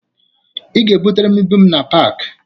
Ị ga-ebutere m ibu m na paakị